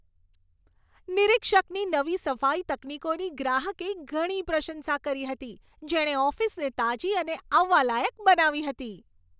નિરીક્ષકની નવી સફાઈ તકનીકોની ગ્રાહકે ઘણી પ્રશંસા કરી હતી, જેણે ઓફિસને તાજી અને આવવાલાયક બનાવી હતી.